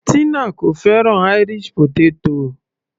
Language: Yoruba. Tina kò fẹ́ràn Irish potato.